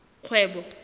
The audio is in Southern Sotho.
kgwebo